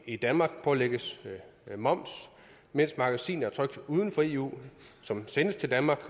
i danmark pålægges moms mens magasiner trykt uden for eu som sendes til danmark